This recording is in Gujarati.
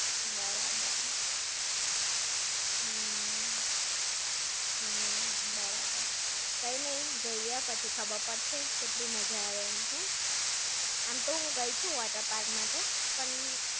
બરાબર. હમ્મ. હમ્મ, બરાબર. કઈ નઈ જઈએ પછી ખબર પડશે કેટલી મજા આવે એમ! આમ તો હૂં ગઈ છો water park માં તો, પણ!